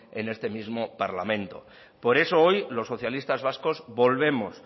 en este mismo parlamento por eso hoy los socialistas vascos volvemos